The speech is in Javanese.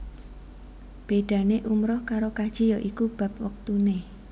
Bédané umrah karo kaji ya iku bab wektuné